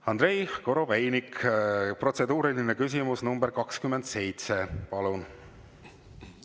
Andrei Korobeinik, protseduuriline küsimus nr 27, palun!